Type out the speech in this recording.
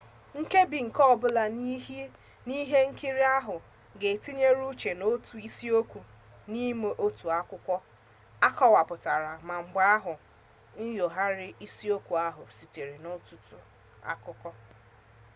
nkebi nke ọbụla n'ihe nkiri ahụ ga-etinye uche n'otu isiokwu n'ime otu akwụkwọ akọwapụtara ma mgbe ahụ nyogharịa isiokwu ahụ site n'ọtụtụ akụkọ